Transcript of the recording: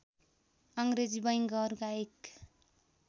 अङ्ग्रेजी बैंकहरूका एक